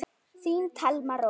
Þín Thelma Rós.